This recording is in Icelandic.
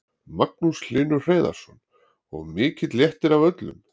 Magnús Hlynur Hreiðarsson: Og mikill léttir á öllum?